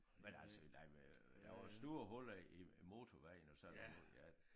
Men altså nej men der var store huller i i motorvejen og sådan noget ja